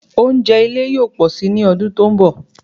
Oúnjẹ ile yóò pọ́sì ni ọdún tí ó ń bọ